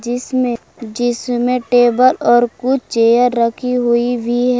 जिसमें जिसमें टेबल और कुछ चेयर रखी हुई भी ह--